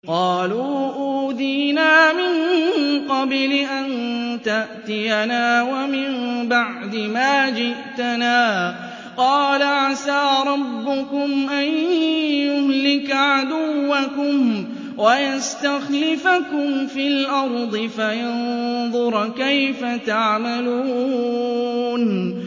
قَالُوا أُوذِينَا مِن قَبْلِ أَن تَأْتِيَنَا وَمِن بَعْدِ مَا جِئْتَنَا ۚ قَالَ عَسَىٰ رَبُّكُمْ أَن يُهْلِكَ عَدُوَّكُمْ وَيَسْتَخْلِفَكُمْ فِي الْأَرْضِ فَيَنظُرَ كَيْفَ تَعْمَلُونَ